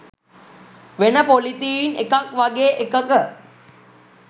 වෙන පොලිතීන් එකක් වගේ එකක